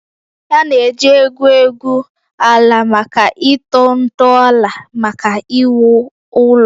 A na-eji egwu egwu egwu ala maka ịtọ ntọala maka iwu ụlọ